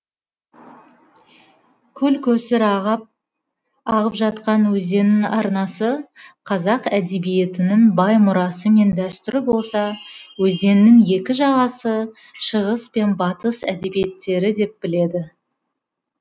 көл көсір ағып жатқан өзеннің арнасы қазақ әдебиетінің бай мұрасы мен дәстүрі болса өзеннің екі жағасы шығыс пен батыс әдебиеттері деп біледі